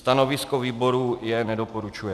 Stanovisko výboru je nedoporučuje.